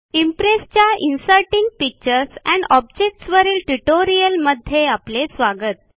इम्प्रेसच्या inserting pictures and objects वरील ट्युटोरियलमध्ये आपले स्वागत